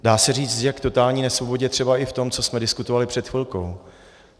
Dá se říct, že k totální nesvobodě třeba i v tom, co jsme diskutovali před chvilkou.